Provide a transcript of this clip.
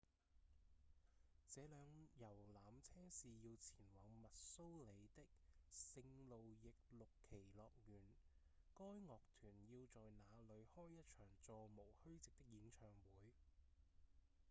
這輛遊覽車是要前往密蘇里的聖路易六旗樂園該樂團要在那裡開一場座無虛席的演唱會